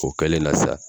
O kɛlen na sa